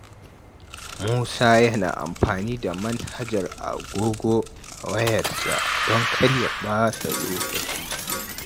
Musa yana amfani da manhajar agogo a wayarsa don kar ya ɓata lokaci.